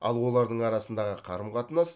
ал олардың арасындағы қарым қатынас